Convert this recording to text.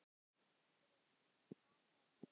Breki: Hvað ætlarðu að kjósa?